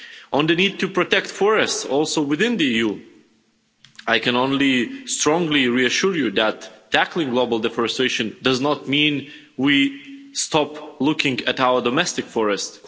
On the need to protect forests also within the EU, I can only strongly reassure you that tackling global deforestation does not mean we stop looking at our domestic forests.